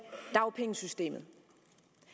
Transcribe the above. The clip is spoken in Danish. dagpengesystemet